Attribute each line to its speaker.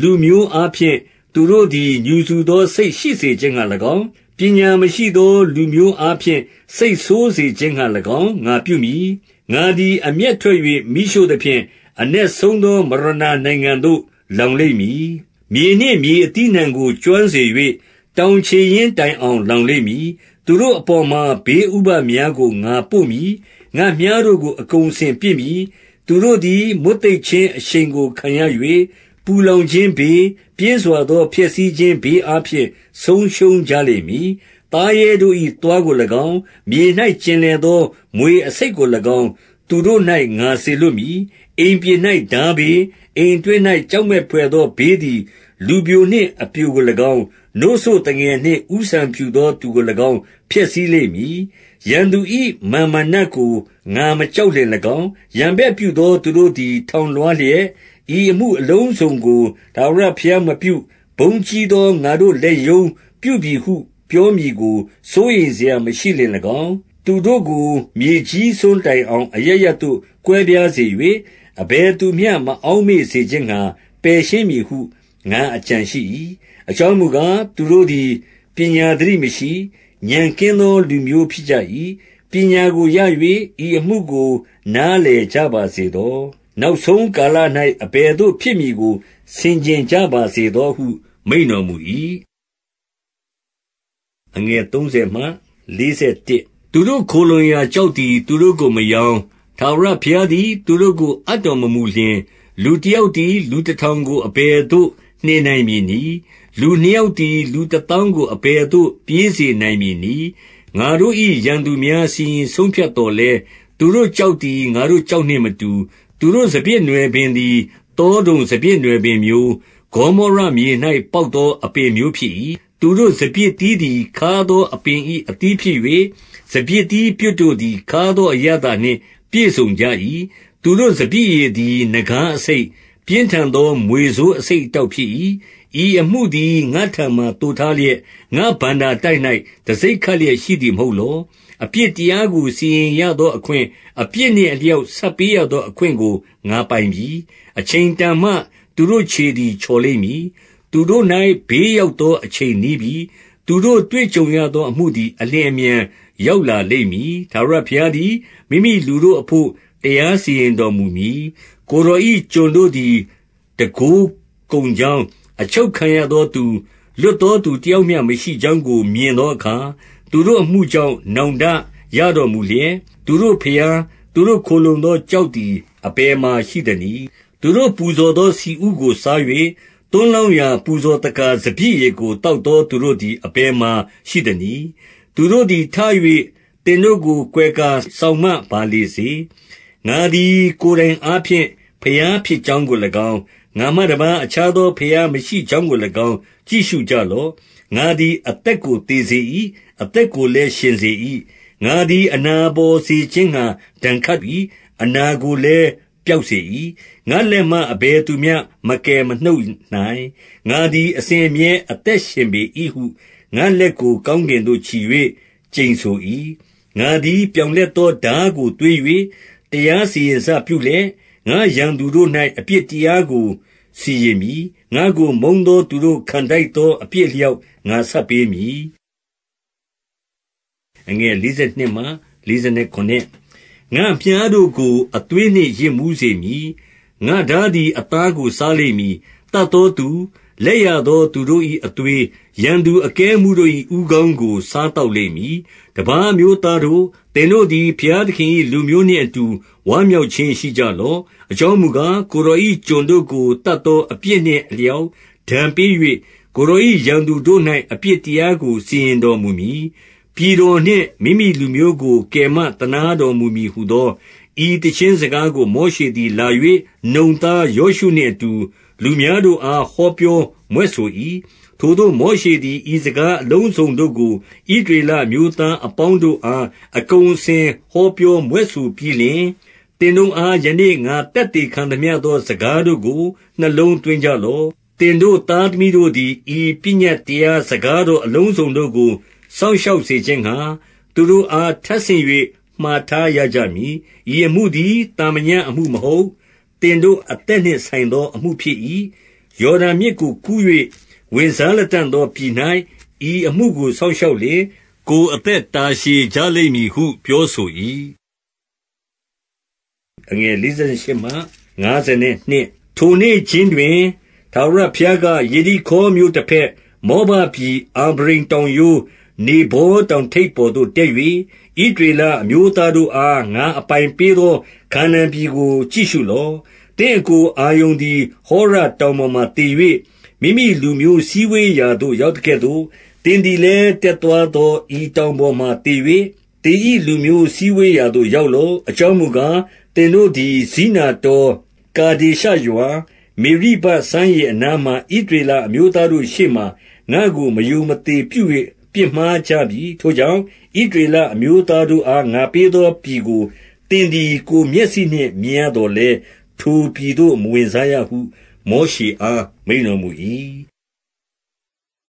Speaker 1: လူမျိုးအားဖြင့် သူတို့သည် ငြူစူသောစိတ်ရှိစေခြင်း ငှါ၎င်း၊ ပညာမရှိသောလူမျိုးအားဖြင့် စိတ်ဆိုးစေခြင်းငှါ ၎င်း ငါပြုမည်။ 22 ငါသည် အမျက်ထွက်၍ မီးရှို့သဖြင့်၊ အနက်ဆုံး သောမရဏာနိုင်ငံသို့ လောင်လိမ့်မည်။ မြေနှင့်မြေအသီး အနှံကို ကျွမ်းစေ၍ တောင်ခြေရင်းတိုင်အောင် လောင် လိမ့်မည်။ 23 သူတို့အပေါ်မှာ ဘေးဥပဒ်များကို ငါပို့မည်။ ငါ့မြှားတို့ကို အကုန်အစင်ပစ်မည်။ 24 သူတို့သည် မွတ်သိပ်ခြင်းအရှိန်ကို ခံရ၍၊ ပူလောင်ခြင်းဘေး၊ ပြင်းစွာသောဖျက်ဆီးခြင်းဘေး အား ဖြင့် ဆုံးရှုံးကြလိမ့်မည်။ သားရဲတို့၏ သွားကို၎င်း၊ မြေ၌ ကျင်လည်သော မြွေအဆိပ်ကို၎င်း၊ သူတို့၌ ငါစေလွှတ် မည်။ 25 အိမ်ပြင်၌ ထားဘေး၊ အိမ်အတွင်း၌ ကြောက် မက်ဘွယ်သောဘေးသည် လူပျိုနှင့်အပျိုကို၎င်း၊ နို့စို့သူ ငယ်နှင့် ဦးဆံဖြူသောသူကို၎င်း ဖျက်ဆီးလိမ့်မည်။ 26 ရန်သူ၏ မာန်မာနကို ငါမကြောက်လျှင်၎င်း၊ 27 ရန်ဘက်ပြုသောသူတို့သည် ထောင်လွှားလျက်၊ ဤအမှုအလုံးစုံကို ထာဝရဘုရားမပြု၊ ဘုန်းကြီးသောငါတို့ လက်ရုံးပြပြီဟု ပြောမည်ကို စိုးရိမ်စရာမရှိလျှင်၎င်း၊ သူတို့ ကို မြေကြီးစွန်းတိုင်အောင် အရပ်ရပ်သို့ ကွဲပြားစေ၍၊ အဘယ်သူမျှ မအောက်မေ့စေခြင်းငှါ ပယ်ရှင်းမည်ဟု ငါအကြံရှိ၏။ 28 အကြောင်းမူကား၊ သူတို့သည် ပညာသတိမရှိ၊ ဥာဏ်ကင်းသော လူမျိုးဖြစ်ကြ၏။ 29 ပညာကိုရ၍ ဤအမှုကို နားလည်ကြပါစေ သော။ နောက်ဆုံးကာလ၌ အဘယ်သို့ဖြစ်မည်ကို ဆင်ခြင်ကြပါစေသောဟု မိန့်တော်မူ၏။ 30 သူတို့ခိုလှုံစရာကျောက်သည် သူတို့ကိုမရောင်း၊ ထာဝရဘုရားသည် သူတို့ကို အပ်တော်မမူလျှင်၊ လူတ ယောက်သည် လူတထောင်ကို အဘယ်သို့ နှင်နိုင်မည် နည်း။ လူနှစ်ယောက်သည် လူတသောင်းကို အဘယ်သို့ ပြေးစေနိုင်မည်နည်း။ 31 ငါတို့၏ရန်သူများ စီရင်ဆုံးဖြတ်သော်လည်း၊ သူတို့ကျောက်သည် ငါတို့ကျောက်နှင့်မတူ။ 32 သူတို့စပျစ်နွယ်ပင်သည် သောဒုံစပျစ်နွယ်ပင် မျိုး၊ ဂေါမောရမြေ၌ ပေါက်သော အပင်မျိုးဖြစ်၏။ သူတို့ စပျစ်သီးသည် ခါးသောအပင်၏ အသီးဖြစ်၍၊ စပျစ်သီး ပြွတ်တို့သည် ခါးသောအရသာနှင့် ပြည့်စုံကြ၏။ 33 သူတို့ စပျစ်ရည်သည် နဂါးအဆိပ်၊ ပြင်းထန် သော မြွေဆိုးအဆိပ် အတောက်ဖြစ်၏။ 34 ဤအမှုသည် ငါ့ထံမှာ သိုထားလျက်၊ ငါ့ဘဏ္ဍာ တိုက်၌ တံဆိပ်ခပ်လျက် ရှိသည်မဟုတ်လော။ 35 အပြစ်တရားကို စီရင်ရသော အခွင့်၊ အပြစ်နှင့် အလျောက်ဆပ်ပေးရသော အခွင့်ကို ငါပိုင်၏။ အချိန် တန်မှ သူတို့ခြေသည် ချော်လိမ့်မည်။ သူတို့၌ ဘေး ရောက်သောအချိန်နီးပြီ။ သူတို့တွေ့ကြုံရသောအမှုသည် အလျင်အမြန် ရောက်လာလိမ့်မည်။ 36 ထာဝရဘုရားသည် မိမိလူတို့အဘို့ တရားစီရင် တော်မူမည်။ ကိုယ်တော်၏ ကျွန်တို့သည် တန်ခိုးကုန် ကြောင်း၊ အချုပ်ခံရသောသူ၊ လွတ်သောသူတယောက်မျှ မရှိကြောင်းကို မြင်သောအခါ၊ သူတို့အမှုကြောင့် နောင် တရတော်မူလျက်၊ 37 သူတို့ဘုရား၊ သူတို့ခိုလှုံသောကျောက်သည် အဘယ်မှာရှိသနည်း။ 38 သူတို့ပူဇော်သော ဆီဥကို စား၍ သွန်းလောင်း ရာ ပူဇော်သက္ကာ စပျစ်ရည်ကို သောက်သော သူတို့သည် အဘယ်မှာရှိသနည်း။ သူတို့သည် ထ၍ သင်တို့ကို ကွယ် ကာ စောင့်မပါလေစေ။ 39 ငါသည် ကိုယ်တိုင်အားဖြင့် ဘုရားဖြစ်ကြောင်း ကို၎င်း၊ ငါမှတပါး အခြားသောဘုရားမရှိကြောင်းကို၎င်း ကြည့်ရှုကြလော့။ ငါသည် အသက်ကို သေစေ၏။ အသက်ကိုလည်း ရှင်စေ၏။ ငါသည် အနာပေါ်စေခြင်း ငှါ ဒဏ်ခတ်၏။ အနာကိုလည်း ပျောက်စေ၏။ ငါ့လက်မှ အဘယ်သူမျှ မကယ်မနှုတ်နိုင်။ 40 ငါသည် အစဉ်အမြဲအသက်ရှင်ပေ၏ဟု ငါ့လက် ကို ကောင်းကင်သို့ချီ၍ ကျိန်ဆို၏။ 41 ငါသည် ပြောင်လက်သောထားကို သွေး၍၊ တရားစီရင်စပြုလျက် ငါ့ရန်သူတို့၌ အပြစ်တရားကို စီရင်မည်။ ငါ့ကိုမုန်းသောသူတို့ ခံထိုက်သောအပြစ်အ လျောက် ငါဆပ်ပေးမည်။ 42 ငါ့မြှားတို့ကို အသွေးနှင့်ယစ်မူးစေမည်။ ငါ့ထား သည် အသားကို စားလိမ့်မည်။ သတ်သောသူ၊ လက်ရ သောသူတို့၏ အသွေး၊ ရန်သူအကဲအမှူးတို့၏ ဦးခေါင်းကို စားသောက်လိမ့်မည်။ 43 တပါးအမျိုးသားတို့၊ သင်တို့သည် ဘုရားသခင် ၏ လူမျိုးနှင့်အတူ ဝမ်းမြောက်ခြင်းရှိကြလော့။ အ ကြောင်းမူကား၊ ကိုယ်တော်၏ ကျွန်တို့ကို သတ်သော အပြစ်နှင့်အလျောက် ဒဏ်ပေး၍ ကိုယ်တော်၏ ရန်သူ တို့၌ အပြစ်တရားကို စီရင်တော်မူမည်။ ပြည်တော်နှင့် မိမိလူမျိုးကို ကယ်မသနားတော်မူမည်ဟူသော၊ 44 ဤသီချင်းစကားကို မောရှေသည် လာ၍ နုန် သားယောရှုနှင့်အတူ လူများတို့အား ဟောပြောမြွက်ဆို၏။ 45 ထိုသို့ မောရှေသည် ဤစကားအလုံးစုံတို့ကို ဣသရေလအမျိုးသား အပေါင်းတို့အား အကုန်အစင် ဟောပြောမြွက်ဆိုပြီးလျှင်၊ 46 သင်တို့အား ယနေ့ ငါသက်သေခံသမျှသော စကားတို့ကို နှလုံးသွင်းကြလော့။ သင်တို့သားသမီးတို့ သည် ဤပညတ်တရား စကားတော်အလုံးစုံတို့ကို စောင့် ရှောက်စေခြင်းငှါ၊ သူတို့အား ထပ်ဆင့်၍ မှာထားရကြ မည်။ 47 ဤအမှုသည် သာမညအမှုမဟုတ်။ သင်တို့ အသက်နှင့်ဆိုင်သော အမှုဖြစ်၏။ ယော်ဒန်မြစ်ကိုကူး၍ ဝင်စားလတံ့သောပြည်၌ ဤအမှုကို စောင့်ရှောက်လျှင်၊ ကိုယ်အသက် တာရှည်ကြလိမ့်မည်ဟု ပြောဆို၏။ 48 ထိုနေ့ခြင်းတွင် ထာဝရဘုရားက၊ ယေရိခေါမြို့ တဘက်၊ မောဘပြည် အာဗရိမ်တောင်ရိုး၊ နေဗောတောင် ထိပ်ပေါ်သို့တက်၍၊ 49 ဣသရေလ အမျိုးသားတို့အား ငါအပိုင်ပေး သော ခါနာန်ပြည်ကို ကြည့်ရှုလော့။ 50 သင့်အစ်ကို အာရုန်သည် ဟောရတောင်ပေါ် မှာ သေ၍ မိမိလူမျိုးစည်းဝေးရာသို့ ရောက်သကဲ့သို့၊ သင်သည်လည်း တက်သွားသော ဤတောင်ပေါ်မှာ သေ၍၊ သင်၏လူမျိုးစည်းဝေးရာသို့ ရောက်လော့။ 51 အကြောင်းမူကား၊ သင်တို့သည် ဇိနတော၊ ကာ ဒေရှရွာ၊ မေရိဘစမ်းရေအနား၌ ဣသရေလအမျိုးသား တို့ရှေ့မှာ ငါ့ကို မရိုမသေပြု၍ ပြစ်မှားကြပြီ။ 52 ထို့ကြောင့် ဣသရေလအမျိုးသားတို့အား ငါပေး သော ပြည်ကို သင်သည် ကိုယ်မျက်စိနှင့် မြင်ရသော် လည်း၊ ထိုပြည်သို့ မဝင်စားရဟု မောရှေအား မိန့်တော်မူ၏။